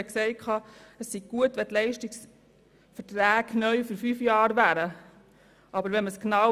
Er hat gesagt, es wäre gut, wenn Leistungsverträge neu für fünf Jahre abgeschlossen würden.